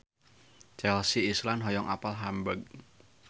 Chelsea Islan hoyong apal Hamburg